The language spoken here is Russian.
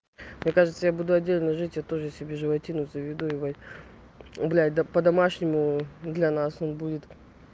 мне кажется я буду отдельно жить я тоже себе животину заведу бля да по-домашнему для нас он будет